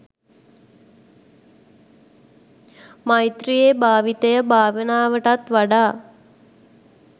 මෛත්‍රියේ භාවිතය භාවනාවටත් වඩා